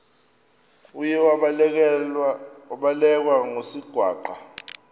uye wabelekwa ngusigwamba